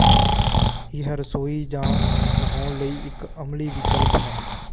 ਇਹ ਰਸੋਈ ਜਾਂ ਨਹਾਉਣ ਲਈ ਇੱਕ ਅਮਲੀ ਵਿਕਲਪ ਹੈ